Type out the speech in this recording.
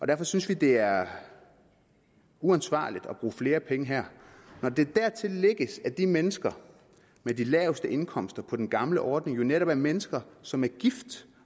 derfor synes vi at det er uansvarligt at bruge flere penge her når der dertil lægges at de mennesker med de laveste indkomster på den gamle ordning jo netop er mennesker som er gift